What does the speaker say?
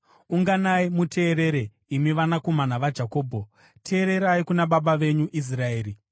“Unganai muteerere, imi vanakomana vaJakobho; teererai kuna baba venyu Israeri.